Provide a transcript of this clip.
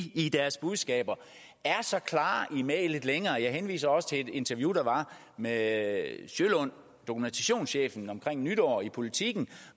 i deres budskaber er så klare i mælet længere jeg henviser også til et interview der var med sølund dokumentationschefen omkring nytår i politiken